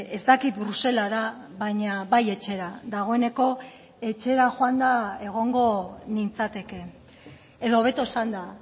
ez dakit bruselara baina bai etxera dagoeneko etxera joanda egongo nintzateke edo hobeto esanda